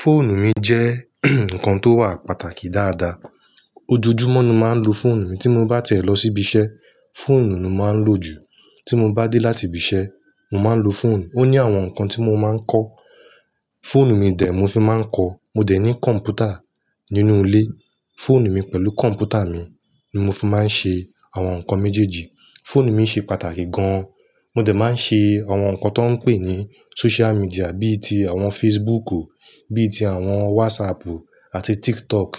Fóònù mi jẹ́ ǹkan tó wà pàtàkì dáadáa. Ojojúmọ́ ni máa ń lo fọ́ònù mi. Tí mo bá tiẹ̀ lọ sí ibi iṣẹ́, fóònù ni mo máa ń lò jù. Tí mo bá dé láti ibi iṣẹ́, mo máa ń lo fóònù. Ó ní àwọn ǹkan tí mo máa ń kọ. Fóònù mi dè mó fi máa ń kọ. Mo dẹ̀ ní kọ̀m̀pútà nínú ilé. Fóònù mi pẹ̀lú kọ̀m̀pútà mi ni mo fi máa ń ṣe àwọn nǹkan méjèèjì. Fóònù mi ṣe pàtàkì gan-an. Mo dẹ̀ máa ń ṣe àwọn ǹkan tó ń pè ní social media bí i ti àwọn Facebook, bí i ti àwọn WhatsApp àti TikTok.